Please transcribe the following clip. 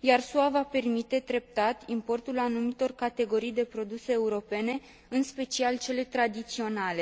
iar SUA va permite treptat importul anumitor categorii de produse europene, în special cele tradiționale.